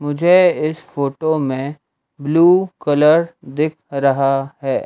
मुझे इस फोटो में ब्लू कलर दिख रहा है।